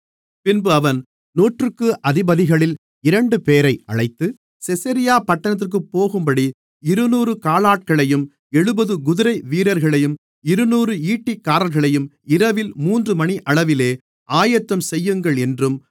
பின்பு அவன் நூற்றுக்கு அதிபதிகளில் இரண்டுபேரை அழைத்து செசரியா பட்டணத்திற்குப் போகும்படி இருநூறு காலாட்களையும் எழுபது குதிரை வீரரையும் இருநூறு ஈட்டிக்காரர்களையும் இரவில் மூன்று மணியளவிலே ஆயத்தம் செய்யுங்கள் என்றும்